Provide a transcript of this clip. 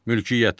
Mülkiyyət.